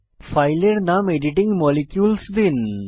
ফাইলের নাম editing molecules দিন